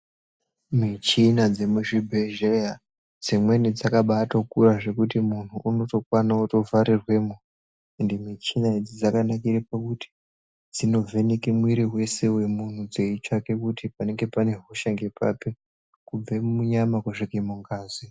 Michina dzemuzvibhedhleya dzimweni dzakatokura zvekuti muntu unotokwana kutovharirwemwo. Ende michina idzi dzakanakire pakuti dzinovheneke mwiri vese vemuntu dzeitsvake kuti panenge pane hosha ngepapi kubve munyama kusvike mungazi.